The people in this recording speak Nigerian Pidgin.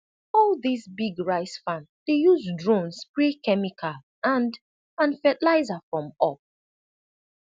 all dis big rice farm dey use drone spray chemical and and fertilizer from up